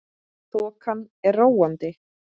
Þokan er róandi